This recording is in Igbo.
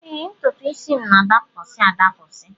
Ee, ntụtụisi m na-adapụsị adapụsị